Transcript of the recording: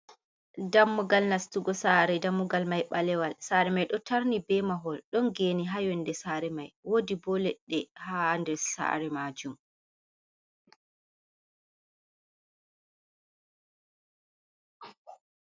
Dammugal nastugo sare, dammugal mai balewal, sare mai ɗo tarni be mahol, ɗon geni ha yonde sare mai wodi bo leɗɗe, hander sare majum.